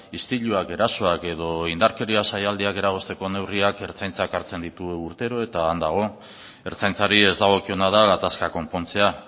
istiluak erasoak edo indarkeria saialdiak eragozteko neurriak ertzaintzak hartzen ditu urtero eta han dago ertzaintzari ez dagokiona da gatazkak konpontzea